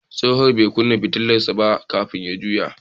Dattijon bai kunna fitilar sa ba kafin ya juya.